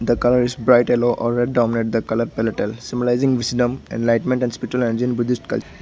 the colour is bright yellow or red dominant the colour palletels symbolizing wisdom enlightenment and spiritual buddhist cul --